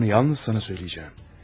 Bunu yalnız sənə deyəcəyəm.